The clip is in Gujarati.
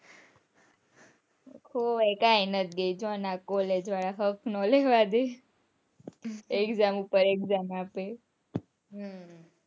કઈ નાઈ બેસવાના college વાળા શ્વાસ ના લેવા દે exam પર exam આપે હમ